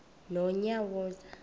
nonyawoza